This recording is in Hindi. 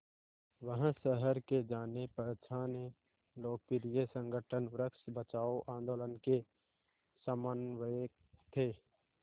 वह शहर के जानेपहचाने लोकप्रिय संगठन वृक्ष बचाओ आंदोलन के समन्वयक थे